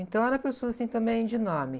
Então era pessoa, assim, também de nome.